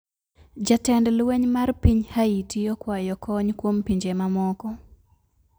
Jatend lweny mar piny Haiti okwayo kony kwom pinje mamoko